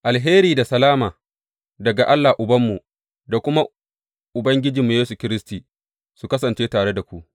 Alheri da salama daga Allah Ubanmu da kuma Ubangiji Yesu Kiristi, su kasance tare da ku.